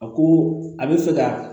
A ko a bɛ fɛ ka